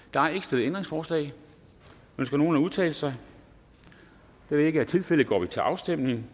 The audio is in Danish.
der er ikke stillet ændringsforslag ønsker nogen at udtale sig da det ikke er tilfældet går vi til afstemning